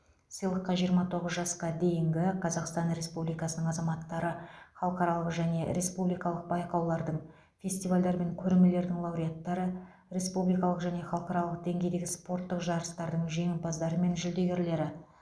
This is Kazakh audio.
сыйлыққа жиырма тоғыз жасқа дейінгі қазақстан республикасының азаматтары халықаралық және республикалық байқаулардың фестивальдар мен көрмелердің лауреаттары республикалық және халықаралық деңгейдегі спорттық жарыстардың жеңімпаздары мен жүлдегерлері